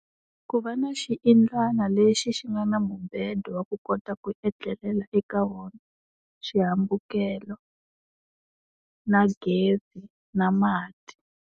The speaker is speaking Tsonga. Ku va na xiyindlwana lexi xi nga na mubedo wa ku kota ku etlelela eka wona, xihambukelo na gezi na mati.